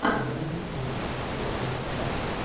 загрузи кино актер бен аффлек